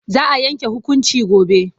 Za a yanke hukunci gobe.